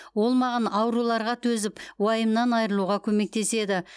ол маған ауруларға төзіп уайымнан айырылуға көмектеседі